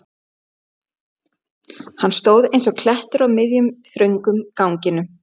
Hann stóð eins og klettur á miðjum, þröngum ganginum.